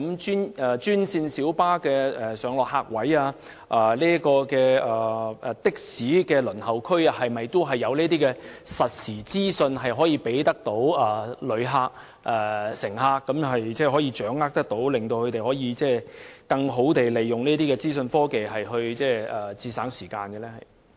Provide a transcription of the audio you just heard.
專線小巴的上落客位及的士輪候區會否提供實時資訊予旅客及乘客，讓他們更易掌握時間，或更好地利用資訊科技節省時間呢？